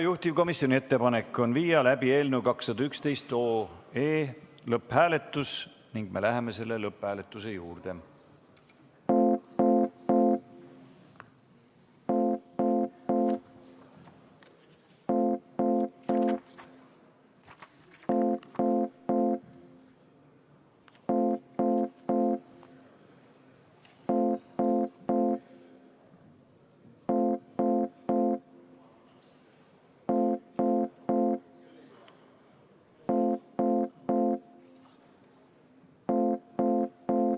Juhtivkomisjoni ettepanek on viia läbi eelnõu 211 lõpphääletus ning me läheme selle juurde.